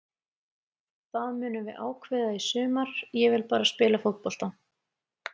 Það munum við ákveða í sumar, ég vil bara spila fótbolta.